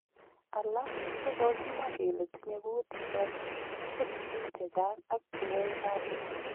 Alaak chegogimwa kele tinye kuutik choton ko ribiik chechang ak cheyoye kasiit.